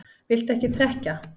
Viltu ekki trekkja?